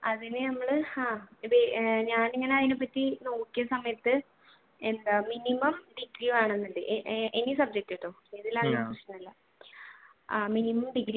അതിൽ നമ്മൾ ആഹ് ഞാൻ ഇങ്ങനെ അതിനെ പറ്റി നോക്കിയ സമയത്തു എന്താ minimum ഡിഗ്രി വേണമെന്നുണ്ട് any subject ട്ടോ എന്തിലായാലും പ്രശ്നമില്ല.